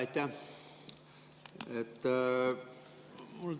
Aitäh!